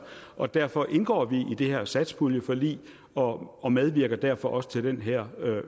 og derfor indgår vi i det her satspuljeforlig og og medvirker derfor også til den her